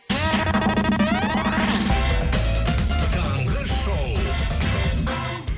таңғы шоу